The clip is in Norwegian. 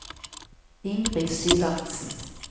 Ingrid Syvertsen